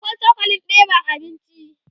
akwai cokalin ɗeban abinci